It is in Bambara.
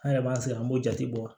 An yɛrɛ b'an sigi an b'o jate bɔ